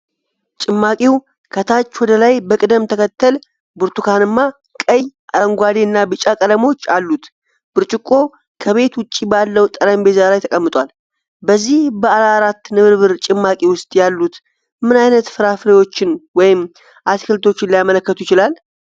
ጭማቂው ከታች ወደ ላይ በቅደም ተከተል ብርቱካንማ፣ ቀይ፣ አረንጓዴ እና ቢጫ ቀለሞች አሉት፤ ብርጭቆው ከቤት ውጭ ባለው ጠረጴዛ ላይ ተቀምጧል። በዚህ ባለአራት ንብርብር ጭማቂ ውስጥ ያሉት ምን አይነት ፍራፍሬዎችን ወይም አትክልቶችን ሊያመለክቱ ይችላሉ?